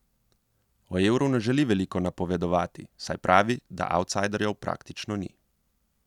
O Euru ne želi veliko napovedovati, saj pravi, da avtsajderjev praktično ni.